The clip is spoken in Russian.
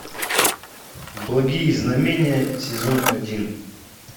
благие знамения сезон один